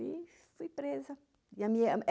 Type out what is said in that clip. E fui presa.